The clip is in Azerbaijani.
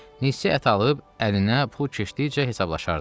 Neçə ət alıb əlinə pul keçdikcə hesablaşardı.